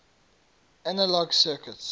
analog circuits